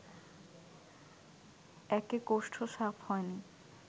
একে কোষ্ঠ সাফ হয়নি